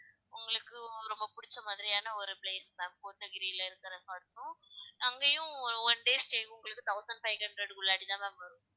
உங்களுக்கும் ரொம்ப பிடிச்ச மாதிரியான ஒரு place ma'am கோத்தகிரியில இருக்க resort உம் அங்கயும் one day stay உங்களுக்கு thousand five hundred க்கு உள்ளாடி தான் ma'am வரும்